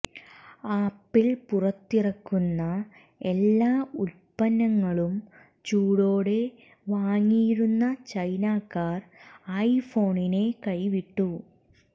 apple പുറത്തിറക്കുന്ന എല്ലാ ഉൽപന്നങ്ങളും ചൂടോടെ വാങ്ങിയിരുന്ന ചൈനക്കാർ ഐഫോണിനെ കൈവിട്ടു